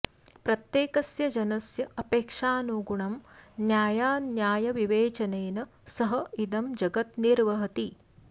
प्रत्येकस्य जनस्य अपेक्षानुगुणं न्यायान्यायविवेचनेन सः इदं जगत् निर्वहति